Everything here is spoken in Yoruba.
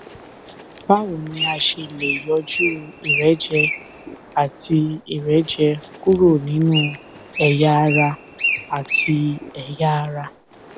báwo ni a ṣe lè yọjú ìrẹjẹ àti ìrẹjẹ kúrò nínú ẹyà ara àti ẹyà ara